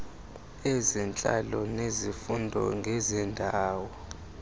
ezentlalo nezifundo ngezendalo